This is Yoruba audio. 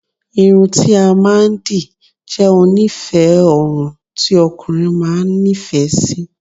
Irun ti a maa n di je onife orun ti okunrin maa n ni ife si